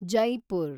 Jaipur